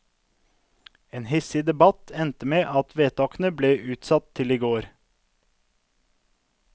En hissig debatt endte med at vedtakene ble utsatt til i går.